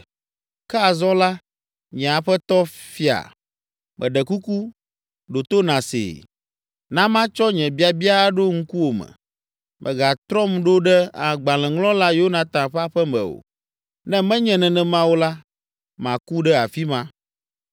Ke azɔ la, nye aƒetɔ fia, meɖe kuku, ɖo to nàsee. Na matsɔ nye biabia aɖo ŋkuwòme: Mègatrɔm ɖo ɖe agbalẽŋlɔla Yonatan ƒe aƒe me o, ne menye nenema o la, maku ɖe afi ma.”